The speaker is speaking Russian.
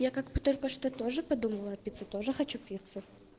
я как бы только что тоже подумала о пицце тоже хочу пиццу